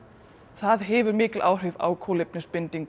það hefur mikil áhrif á kolefnisbindingu